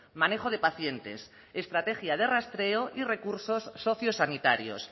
manejo de pacientes estrategia de rastreo y recursos socio sanitarios